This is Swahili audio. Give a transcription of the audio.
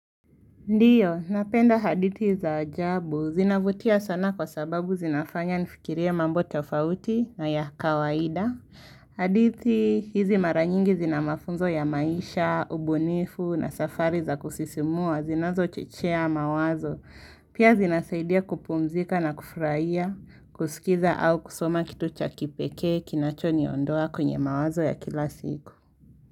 Ndio, napenda hadithi za ajabu. Zinavutia sana kwa sababu zinafanya nifikirie mambo tofauti na ya kawaida. Hadithi, hizi mara nyingi zina mafunzo ya maisha, ubunifu na safari za kusisimua, zinazo chechea mawazo. Pia zinasaidia kupumzika na kufurahia, kusikiza au kusoma kitu cha kipekee, kinacho niondoa kwenye mawazo ya kila siku.